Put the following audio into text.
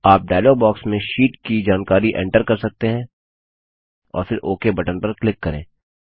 आप dialog box में sheet की जानकारी एन्टर कर सकते हैं और फिर ओक बटन पर क्लिक करें